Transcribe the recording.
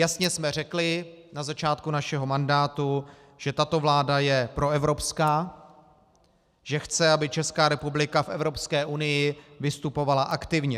Jasně jsme řekli na začátku našeho mandátu, že tato vláda je proevropská, že chce, aby Česká republika v Evropské unii vystupovala aktivně.